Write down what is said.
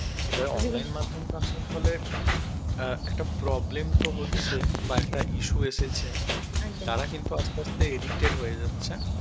এবারে অনলাইন মাধ্যম আসার ফলে অ্যাঁ একটা problem তো হচ্ছে বা একটা issue এসেছে তারা কিন্তু আস্তে আস্তে addicted হয়ে যাচ্ছে.